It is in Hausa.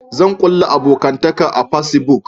Zan kulla abokantaka a fasibuk